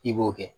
I b'o kɛ